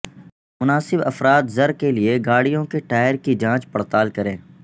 مناسب افراط زر کے لئے گاڑیوں کے ٹائر کی جانچ پڑتال کریں